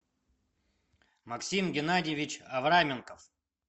максим геннадьевич авраменков